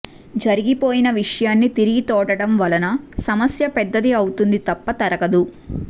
జరిగిపోయిన విషయాన్ని తిరిగి తోడటం వలన సమస్య పెద్దది అవుతుంది తప్ప తరగదు